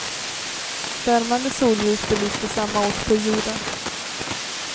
Värmande solljus belyste samma ort på jorden.